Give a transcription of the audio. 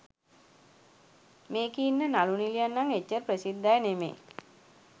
මේකෙ ඉන්න නලු නිලියන් නම් එච්චර ප්‍රසිද්ධ අය නෙවෙයි.